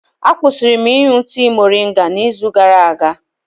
Akwụsịrị m ịṅụ tii moringa n'izu gara aga.